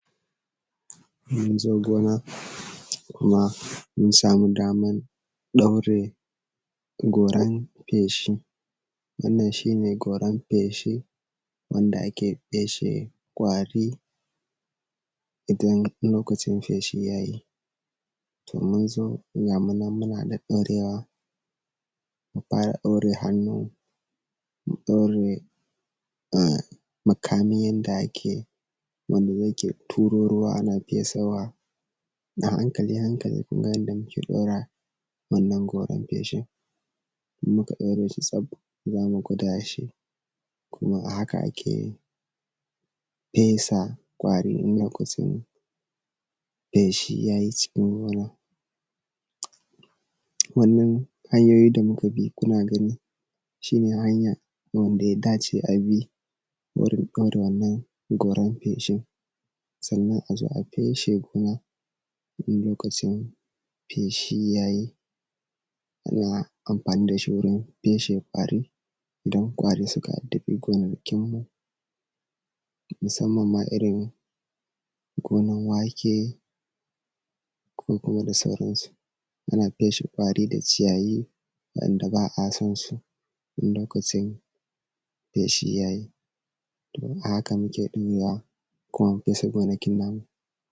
Mun zo gona kuma mun samu damar ɗaure goran feshi. Wannan shi ne goran feshi wanda ake feshe ƙwari idan lokacin feshi ya yi. To mun zo ga mu nan muna ɗaɗɗaurewa, mun fara ɗaure hannu, mun ɗaure um makami yanda ake wani yake turo ruwa ana fesawa. A hankali a hankali kun ga yadda muke ɗora wannan goran feshin. In muka ɗaure shi tsaf za mu gwada shi, kuma a haka ake fesa ƙwari in lokacin feshi ya yi cikin gona. Wannan hanyoyi da muka bi kuna gani, shi ne hanya wanda ya dace a bi, wurin ɗaura wannan goran feshin. Sannan a zo a feshe gona, in lokacin feshi ya yi. Ana amfani da shi feshe ƙwari idan ƙwari suka addabi gonakinmu, musanman ma irin gonan wake, ko kuma da sauransu. Ana feshe ƙwari da ciyayi, wanda ba a son su, in lokacin feshi ya yi domin a haka muke ɗurawa kuma mu feshe gonakin namu.